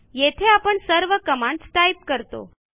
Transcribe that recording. येथे आपण सर्व कमांडस टाईप करतो